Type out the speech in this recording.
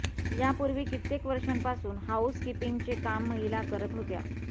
यापूर्वी कित्येक वर्षांपासून हॉऊस किंपींगचे काम महिला करत होत्या